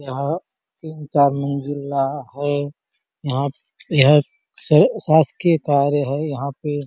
यहाँ तीन चार मंजिला है यहाँ यह स शासकीय कार्य हैं यहाँ पे --